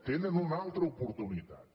tenen una altra oportunitat